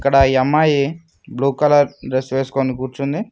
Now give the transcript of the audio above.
ఇక్కడ ఈ అమ్మాయి బ్లూ కలర్ డ్రెస్ వేసుకొని కూర్చుంది.